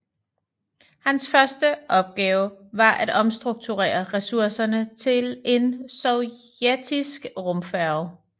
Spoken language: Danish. Hans første opgave var at omstrukturere ressourcerne til en sovjetisk rumfærge